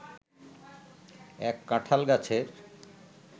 এক কাঁঠাল গাছের